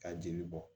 Ka jeli bɔ